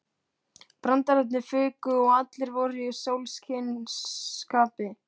Brandararnir fuku og allir voru í sólskinsskapi.